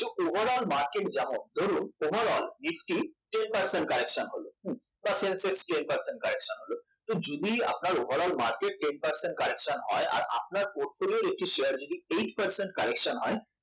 overal market ধরুন overalnifty ten percent correction হলো যদি আপনার overalmarket ten percent corretion হয়